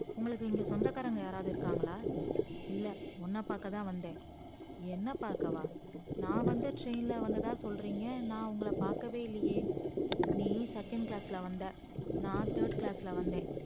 உங்களுக்கு இங்க சொந்தகாரங்க யாராவுது இருக்காங்களா இல்ல உன்ன பக்கா தான் வந்த என்ன பாக்கவா நான் வந்த train ல வந்தனு சொல்றிங்க நான் உங்கள பாக்கவே இல்லையே நீ second class ல வந்த நான் third class ல வந்த